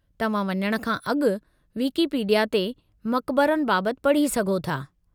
तव्हां वञण खां अॻु विकीपीडिया ते मकबरनि बाबति पढ़ी सघो था।